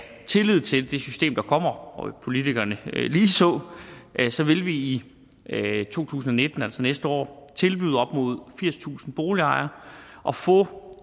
tillid til det system der kommer og politikerne ligeså ligeså vil vi i to tusind og nitten altså næste år tilbyde op mod firstusind boligejere at få